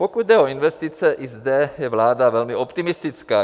Pokud jde o investice, i zde je vláda velmi optimistická.